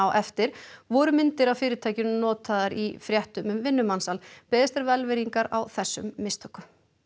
eftir voru myndir af fyrirtækinu notaðar í fréttum um vinnumansal beðist er velvirðingar á þessum mistökum